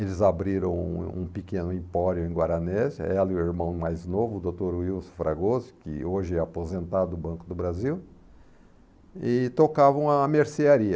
Eles abriram um um pequeno empório em Guaranésia, ela e o irmão mais novo, o doutor Wilson Fragoso, que hoje é aposentado do Banco do Brasil, e tocavam a mercearia.